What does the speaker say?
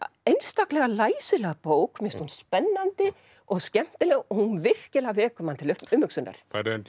einstaklega læsileg bók mér finnst hún spennandi og skemmtileg og hún virkilega vekur mann til umhugsunar